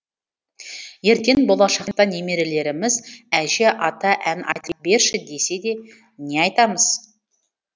ертен болашақта немерелеріміз әже ата ән айтып берші десе де не айтамыз